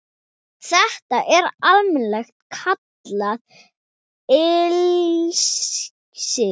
Þetta er almennt kallað ilsig